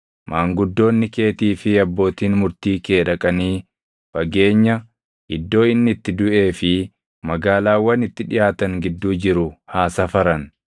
maanguddoonni keetii fi abbootiin murtii kee dhaqanii fageenya iddoo inni itti duʼee fi magaalaawwan itti dhiʼaatan gidduu jiru haa safaran.